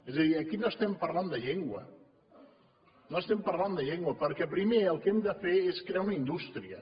és a dir aquí no estem parlant de llengua no estem parlant de llengua perquè primer el que hem de fer és crear una indústria